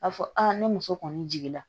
A fɔ ne muso kɔni jigin na